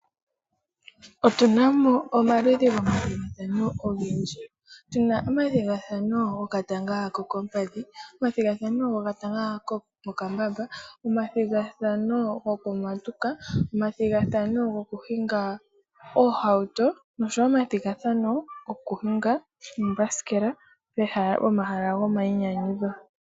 Otunamo omaludhi momathigathano ogendji, tuna omathigathano gokatanga kokoompadhi ,omathigathano getanga lyomokambamba, omathigathano gokumatuka, omathigathano gokuhinga oohauto ,oshowo omathigathano gokuhinga oombasikela pomahala go mayinyanyudho.